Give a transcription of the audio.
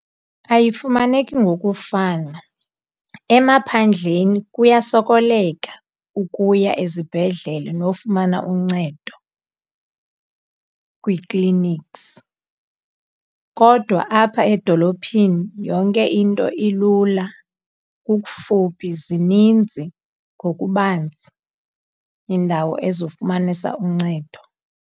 Ayifumaneki ngokufana, emaphandleni kuyasokoleka ukuya ezibhedlele nofumana uncedo kwi-clinics. Kodwa apha edolophini yonke into ilula, kukufuphi, zininzi ngokubanzi iindawo ezofumanisa uncedo.